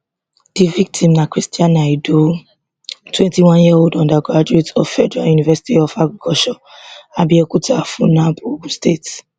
di victim na christiana idowu twenty one year old undergraduate of federal university of agriculture abeokuta funaab ogun state